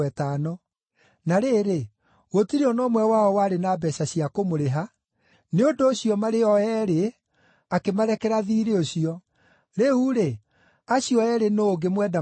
Na rĩrĩ, gũtirĩ o na ũmwe wao warĩ na mbeeca cia kũmũrĩha, nĩ ũndũ ũcio marĩ o eerĩ akĩmarekera thiirĩ ũcio. Rĩu-rĩ, acio eerĩ nũũ ũngĩmwenda makĩria?”